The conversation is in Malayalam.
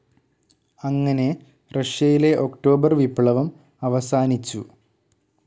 അങ്ങനെ റഷ്യയിലെ ഒക്ടോബർ വിപ്ലവം അവസാനിച്ചു.